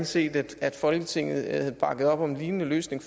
set at folketinget havde bakket op om en lignende løsning